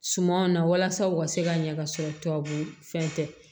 Sumanw na walasa u ka se ka ɲɛ ka sɔrɔ tubabu fɛn tɛ